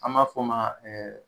Anb'a fɔ ma ɛɛ